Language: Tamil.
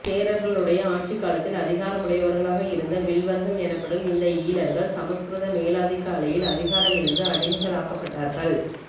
சேரர்களுடைய ஆட்சிக்காலத்தில் அதிகார முடையவர்களாக இருந்த வில்லவர்கள் எனப்படும் இந்த ஈழவர்கள் சமஸ்கிரத மேலாதிக்க அலையில் அதிகாரம் இழந்து அடிமைகளாக்கப்பட்டார்கள்